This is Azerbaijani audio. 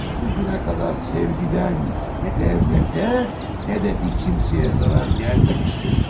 Bugünə qədər sevgidən nə dövlətə, nə də bir kimsəyə zərər gəlməmişdir.